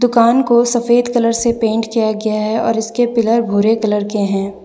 दुकान को सफेद कलर से पेंट किया गया है और इसके पिलर भूरे कलर के हैं।